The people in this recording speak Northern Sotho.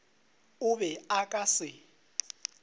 o be o ka se